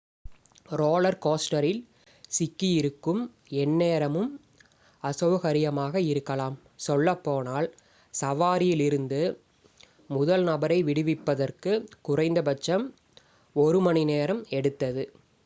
roller கோஸ்டரில் சிக்கியிருக்கும் எந்நேரமும் அசௌகரியமாக இருக்கலாம் சொல்லப்போனால் சவாரியில் இருந்து முதல் நபரை விடுவிப்பதற்கு குறைந்தபட்சம் ஒரு மணி நேரம் எடுத்தது